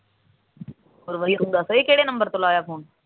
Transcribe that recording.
ਹੋਰ ਬਾਈ ਤੂੰ ਦੱਸ ਇਹ ਕਿਹੜੇ ਨੰਬਰ ਤੋਂ ਲਾਇਆ ਫੁੂਨ?